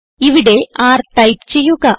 ഇവിടെ r type ചെയ്യുക